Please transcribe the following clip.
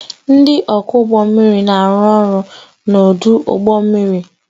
Ndị ọkwọ ụgbọ mmiri na-arụ ọrụ n'ọdụ ụgbọ mmiri